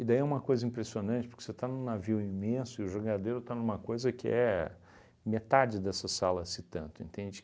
E daí é uma coisa impressionante, porque você está num navio imenso e o jangadeiro está numa coisa que é metade dessa sala, se tanto, entende?